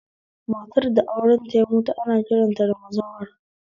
Matar da aurenta ya mutu ana kiranta da bazawara